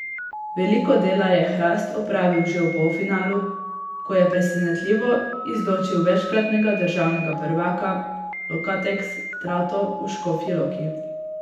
Veliko dela je Hrast opravil že v polfinalu, ko je presenetljivo izločil večkratnega državnega prvaka Lokateks Trato v Škofji Loki.